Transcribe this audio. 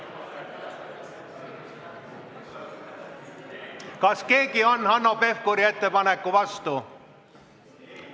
Kas keegi on Hanno Pevkuri ettepaneku vastu?